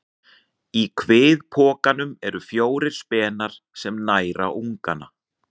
Í kviðpokanum eru fjórir spenar sem næra ungann.